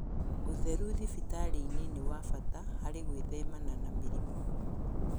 ũtheru thibitarĩ-inĩ nĩ wa bata harĩ gwĩthemana na mĩrimũ